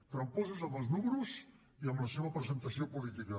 tramposos en els números i en la seva presentació política